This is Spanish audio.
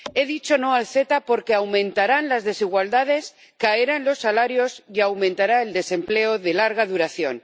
He dicho no al CETA porque aumentarán las desigualdades, caerán los salarios y aumentará el desempleo de larga duración.